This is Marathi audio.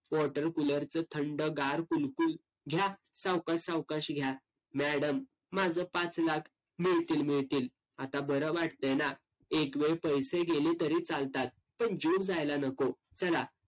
watercooler चं थंडगार कुल्फी घ्या सावकाश सावकाश घ्या. madam माझं पाच लाख, मिळतील मिळतील. आता बरं वाटतंय ना? एकवेळ पैसे गेले तरी चालतात. पण जीव जायला नको. चला,